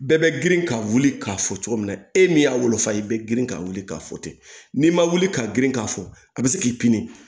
Bɛɛ bɛ girin ka wuli k'a fɔ cogo min na e min y'a wolofa ye i bɛ girin ka wuli k'a fɔ ten n'i ma wuli ka girin k'a fɔ a bɛ se k'i pini